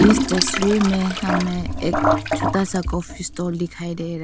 इस तस्वीर में हमें एक छोटा सा कॉफी स्टॉल दिखाई दे रहा है।